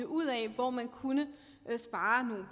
ud af hvor man kunne spare nogle